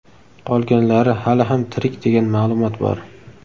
Qolganlari hali ham tirik degan ma’lumot bor.